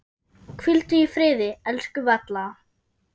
Hvíldu í friði, elsku Valla.